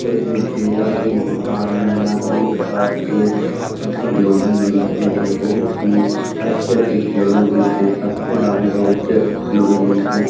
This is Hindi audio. यह देखिये यह एक दुकान है यहाँ कई प्रकार के खिलौने मिलते हैं बहुत ही अच्छे-अच्छे खिलौने मिलते हैं सस्ते दामों में अच्छे-अच्छे खिलौने मिलते हैं ।